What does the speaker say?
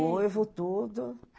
Noivo tudo.